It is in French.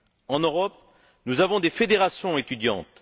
En Europe, nous avons des fédérations étudiantes.